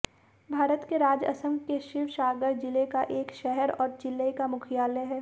भारत के राज्य असम के शिवसागर जिले का एक शहर और जिले का मुख्यालय है